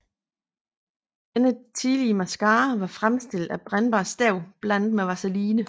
Denne tidlige mascara var fremstillet af brændbart støv blandet med vaseline